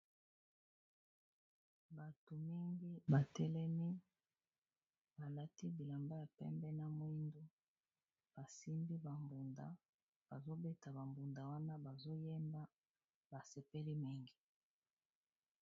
Bato mingi ba telemi ba lati bilamba ya pembe na mwindu, basimbi ba mbunda bazo beta ba mbunda wana bazo yemba ba sepeli mingi.